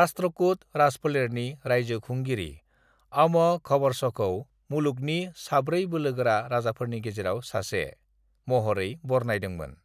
राष्ट्रकूट राजफोलेरनि रायजो खुंगिरि आम'घवर्षखौ """"मुलुगनि साब्रै बोलोगोरा राजाफोरनि गेजेराव सासे"""" महरै बरनायदोंमोन।"""